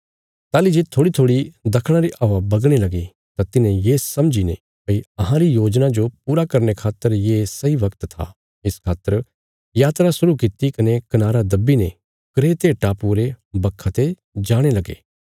ताहली जे थोड़ीथोड़ी दखणा री हवा बगणे लगी तां तिन्हें ये समझीने भई अहांरी योजना जो पूरा करने खातर ये सही वगत था इस खातर यात्रा शुरु कित्ती कने कनारा दब्बी ने क्रेते टापुये रे बखा ते जाणे लगे